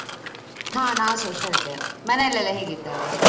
ಹಾ ನಾವ್ಸ ಹುಷಾರಿದ್ದೇನೆ ಮನೇಲೆಲ್ಲ ಹೇಗಿದ್ದಾರೆ?